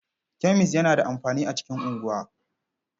Kemis yana da amfani a cikin unguwa.